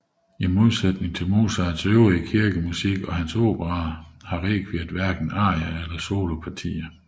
I modsætning til Mozarts øvrige kirkemusik og hans operaer har rekviet hverken arier eller solopartier